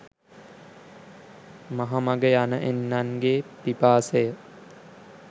මහ මග යන එන්නන්ගේ පිපාසය